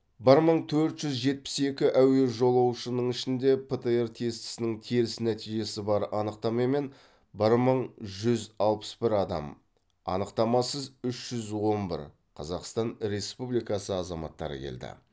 бір мың төрт жүз жетпіс екі әуе жолаушының ішінде птр тестісінің теріс нәтижесі бар анықтамамен бір мың жүз алпыс бір адам анықтамасыз үш жүз он бір қазақстан республикасы азаматтары келді